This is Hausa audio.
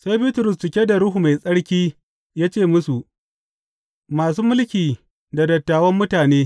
Sai Bitrus, cike da Ruhu Mai Tsarki ya ce musu, Masu mulki da dattawan mutane!